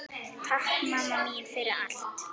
Takk mamma mín fyrir allt.